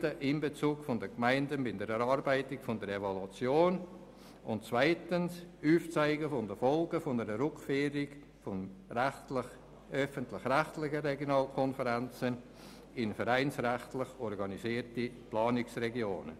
«Breiter Einbezug der Gemeinden bei der Erarbeitung der Evaluation» und zweitens «Aufzeigen der Folgen einer Rückführung der öffentlich-rechtlichen Regionalkonferenzen in vereinsrechtlich organisierte Planungsregionen».